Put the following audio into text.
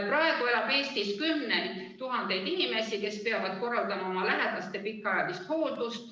Praegu elab Eestis kümneid tuhandeid inimesi, kes peavad korraldama oma lähedaste pikaajalist hooldust.